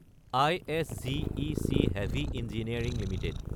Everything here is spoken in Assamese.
ISGEC Heavy Engineering Ltd